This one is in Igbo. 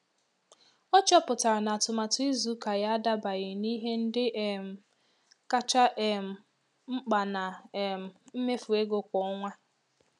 Ọ chọpụtara na atụmatụ izu ụka ya adabaghị n'ihe ndị um kacha um mkpa na um mmefu ego kwa ọnwa.